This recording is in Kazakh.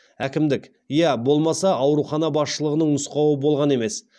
әкімдік иә болмаса аурухана басшылығының нұсқауы болған емес